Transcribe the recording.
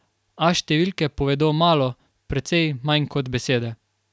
A številke povedo malo, precej manj kot besede.